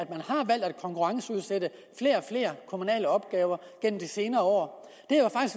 konkurrenceudsætte flere og flere kommunale opgaver gennem de senere år